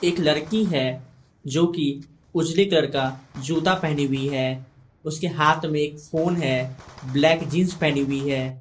एक लड़की है जोकि उजले कलर का जूता पहनी हुई है उसके हाथ में एक फोन है ब्लैक जींस पहनी हुई है।